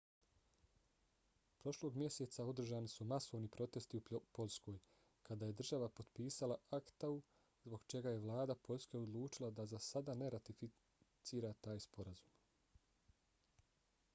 prošlog mjeseca održani su masovni protesti u poljskoj kada je država potpisala acta-u zbog čega je vlada poljske odlučila da za sada ne ratificira taj sporazum